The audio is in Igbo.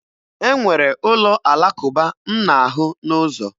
E nwere ụlọ Alakụba m na-ahụ n'ụzọ.